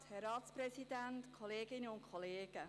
Ich gebe Grossrätin Geissbühler das Wort.